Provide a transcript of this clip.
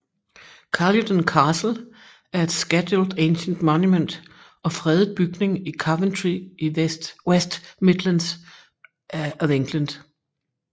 Caludon Castle er et Scheduled Ancient Monument og fredet bygning i Coventry i West Midlands of England